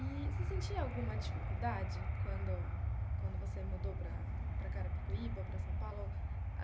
E você sentia alguma dificuldade quando quando você mudou para para Carapicuíba, para São Paulo?